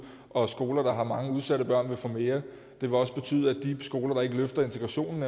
og skoler der har mange udsatte børn vil få mere det vil også betyde at de skoler der eventuelt ikke løfter integrationen